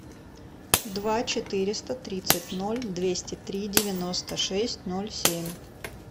два четыреста тридцать ноль двести три девяносто шесть ноль семь